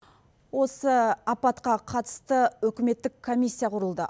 осы апатқа қатысты үкіметтік комиссия құрылды